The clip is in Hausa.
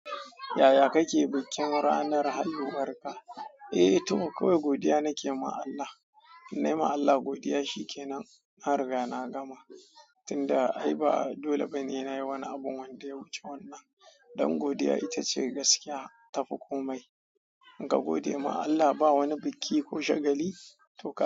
Yaya kake bikin ranar haihuwar ka? Eh to kawai godiya nake ma Allah. Nayi ma Allah godiya shikenan. Nan na riga na gama tinda ai ba dole ba ne nayi wani abu wanda ya wuce wannan don godiya ita ce gaskiya tafi komai. In ka gode ma Allah ba wani biki ko shagali to ka.